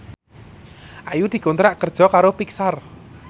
Ayu dikontrak kerja karo Pixar